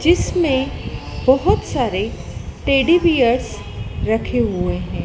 जिसमें बहोत सारे टेडी बीयर्स रखे हुए हैं।